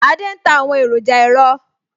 Adé ń ta àwọn èròjà ẹ̀rọ